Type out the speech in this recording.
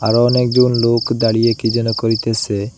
আরও অনেকজন লোক দাঁড়িয়ে কি যেন করিতেসে।